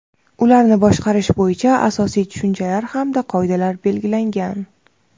ularni boshqarish bo‘yicha asosiy tushunchalar hamda qoidalar belgilangan.